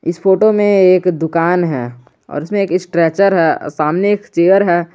इस फोटो में एक दुकान है और उसमें एक स्ट्रेचर है सामने एक चेयर है।